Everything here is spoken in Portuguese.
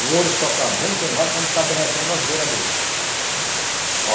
O ouro só está bem queimado quando está derretendo as beira dele. Ó